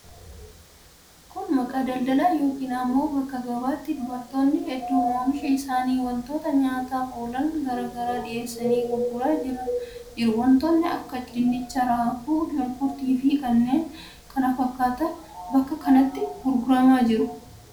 Kun bakka daldalaa yookiin immoo bakka gabaati. Dubartoonni hedduun oomisha isaanii wantoota nyaataaf oolan garaa garaa dhiheessanii gurguraa jiru. Wantoota akka dinnicha, raafuu, shunkurtiifi kanneen kana fakkaatan bakka kanatti gurguramaa jiru.